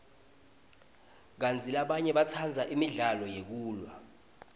kantsi labanye batsandza imidlalo yekulwa